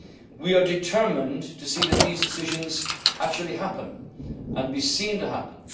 adjustment programme. We are determined to see that these decisions actually happen, and